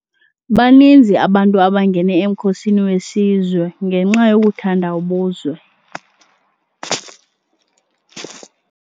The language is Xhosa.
Baninzi abantu abangene emkhosini wesizwe ngenxa yokuthanda ubuzwe.